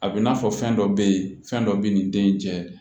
A bɛ i n'a fɔ fɛn dɔ bɛ yen fɛn dɔ bɛ nin den in cɛ